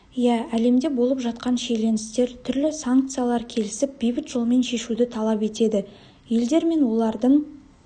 иә әлемде болып жатқан шиеленістер түрлі санкциялар келісіп бейбіт жолмен шешуді талап етеді елдер мен олардың